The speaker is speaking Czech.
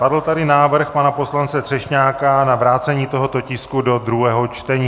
Padl tady návrh pana poslance Třešňáka na vrácení tohoto tisku do druhého čtení.